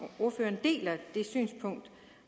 ordføreren deler det synspunkt